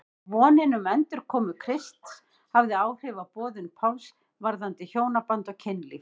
Vonin um endurkomu Krists hafði áhrif á boðun Páls varðandi hjónaband og kynlíf.